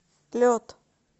лед